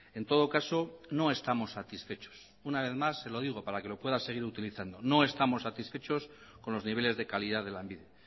en todo caso no estamos satisfechos una vez más se lo digo para que lo pueda seguir utilizando no estamos satisfechos con los niveles de calidad de lanbide